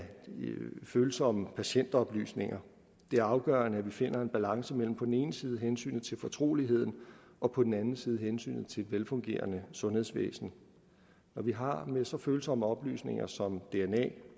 følsomme patientoplysninger det er afgørende at vi finder en balance mellem på den ene side hensynet til fortroligheden og på den anden side hensynet til et velfungerende sundhedsvæsen når vi har med så følsomme oplysninger som dna